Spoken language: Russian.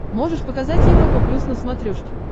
можешь показать европа плюс на смотрешке